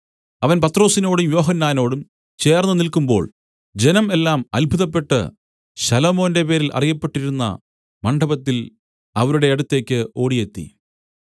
അവൻ പത്രൊസിനോടും യോഹന്നാനോടും ചേർന്ന് നില്ക്കുമ്പോൾ ജനം എല്ലാം അത്ഭുതപ്പെട്ട് ശലോമോന്റെ പേരിൽ അറിയപ്പെട്ടിരുന്ന മണ്ഡപത്തിൽ അവരുടെ അടുത്തേക്ക് ഒ‍ാടിയെത്തി